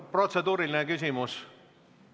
Protseduuriline küsimus?